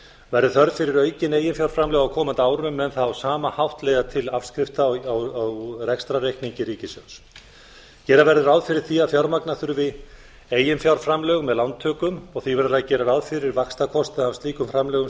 verði þörf fyrir aukin eiginfjárframlög á komandi árum mun það á sama hátt leiða til afskrifta á rekstrarreikningi ríkissjóðs gera verður ráð fyrir því að fjármagna þurfi eiginfjárframlög með lántökum og því verður að gera ráð fyrir vaxtakostnaði af slíkum framlögum